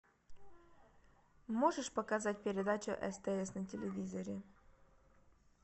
можешь показать передачу стс на телевизоре